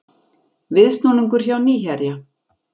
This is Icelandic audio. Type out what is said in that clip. Viðsnúningur hjá Nýherja